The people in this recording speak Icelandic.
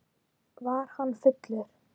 Var hann fullur?